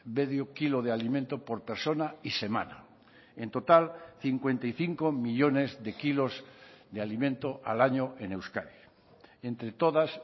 medio kilo de alimento por persona y semana en total cincuenta y cinco millónes de kilos de alimento al año en euskadi entre todas